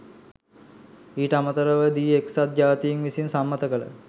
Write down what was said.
ඊට අමතරව දී එක්සත් ජාතීන් විසින් සම්මත කළ